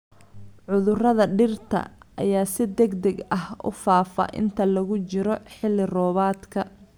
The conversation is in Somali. Cudurrada dhirta ayaa si degdeg ah u faafa inta lagu jiro xilli-roobaadka.